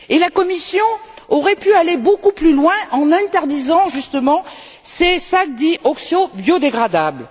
La Commission aurait pu aller beaucoup plus loin en interdisant, justement, ces sacs dits oxobiodégradables.